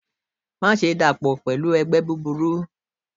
Maṣe dapọ pẹlu ẹgbẹ buburu!